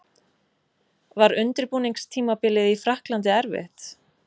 Var undirbúningstímabilið í Frakklandi erfitt?